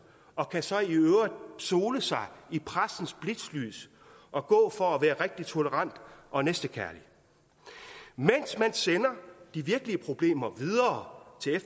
og kan så i øvrigt sole sig i pressens blitzlys og gå for at være rigtig tolerant og næstekærlig mens man sender de virkelige problemer videre til